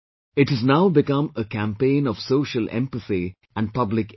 It has now become a campaign of societal empathy and public education